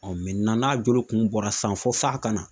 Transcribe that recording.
n'a jolo kun bɔra san fɔ f'a kana